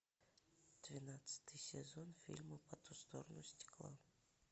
двенадцатый сезон фильма по ту сторону стекла